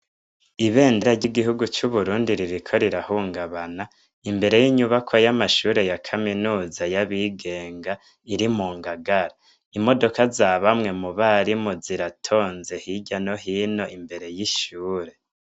Ibendera ry'igihugu c'uburundi ririko rirahungabana, imbere y'inyubakwa y'amashure ya kaminuza y'abigenga iri mu Ngagara. Imodoka za bamwe mu barimu ziratonze hirya no hino imbere y'ishure.